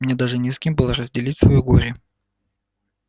мне даже не с кем было разделить своё горе